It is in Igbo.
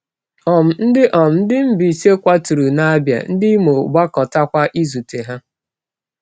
um Ndị um Ndị Mbaise kwaturu n’Abia, ndị Imo gbakọtakwa izute ha.